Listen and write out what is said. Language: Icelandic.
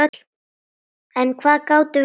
En hvað gátum við sagt?